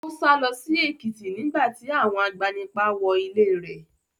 Ó sálọ sí Èkìtì nígbà tí àwọn agbanipa wọ ilé rẹ̀.